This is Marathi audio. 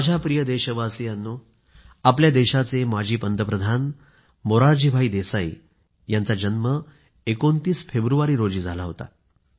माझ्या प्रिय देशवासियांनो आपल्या देशाचे माजी पंतप्रधान मोरारजीभाई देसाई यांचा जन्म 29 फेब्रुवारी रोजी झाला होता